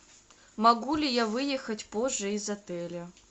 могу ли я выехать позже из отеля